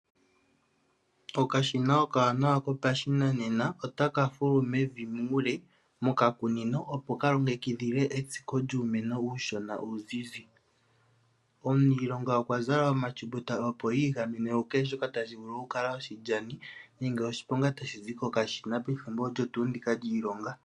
Okashina okawanawa kopashinanena otaka fulu mevi muule mokakunino opo kalongekidhile etsiko lyuumeno uushona uudhidhi. Omuniilonga okwazala omatyuptuta opo igamene ku kehe shoka tashi vulu oku kala oshilyani nenge oshiponga tashi zi koka shina ethimbo olyo tuu ndika lyiilonga.